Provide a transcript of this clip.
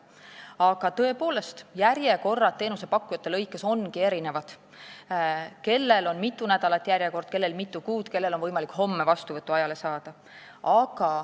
Aga järjekorrad on teenusepakkujate lõikes tõepoolest erinevad: mõnel on järjekord mitu nädalat ja mõnel mitu kuud, mõne juurde on võimalik homme vastuvõtuaeg saada.